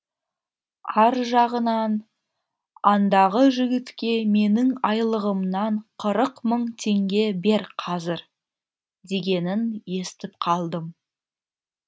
ар жағынан андағы жігітке менің айлығымнан қырық мың теңге бер қазір дегенін естіп қалдым